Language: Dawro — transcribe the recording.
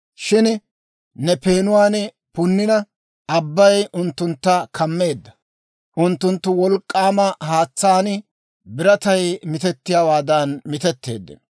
«Shin Ne peenuwaan punnina, abbay unttuntta kammeedda. Unttunttu wolk'k'aama haatsaan biratay mitettiyaawaadan mitetteeddino.